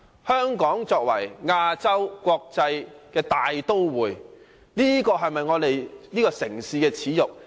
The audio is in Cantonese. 香港是亞洲國際大都會，這是否我們這個城市的耻辱？